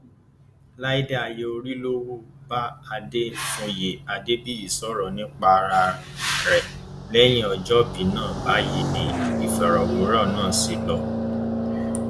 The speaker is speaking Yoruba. láìda ayorílọwu bá adéfúnyè adébíyì sọrọ nípa ara ẹ lẹyìn ọjọbí náà báyìí ni ìfọrọwérọ náà ṣe lọ